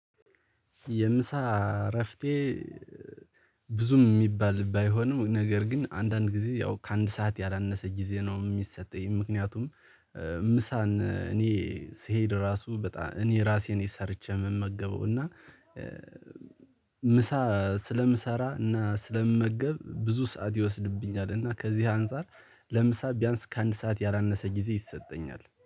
የምሳ እረፍቴ ብዙም የሚባል ባይሆንም ነገር ግን አንዳንድ ጊዜ ያው ከአንድ ሰዓት ያላነሰ ጊዜ ነው የሚሰጠኝ። ምክንያቱም ምሳን እኔ ስሄድ ራሱ በጣም እኔ ራሴን ሰርቼ የምመገበው። እና ምሳ ስለምሰራ እና ስለምመገብ ብዙ ሰዓት ይወስድብኛል እና ከዚህ አንፃር ለምሳ ቢያንስ ከአንድ ሰዓት ያላነሰ ጊዜ ይሰጠኛል